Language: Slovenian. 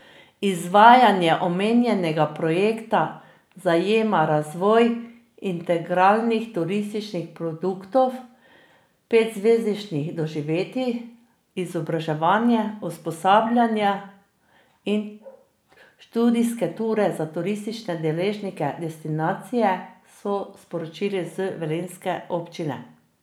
Izvajanje omenjenega projekta zajema razvoj integralnih turističnih produktov, petzvezdničnih doživetij, izobraževanja, usposabljanja in študijske ture za turistične deležnike destinacije, so sporočili z velenjske občine.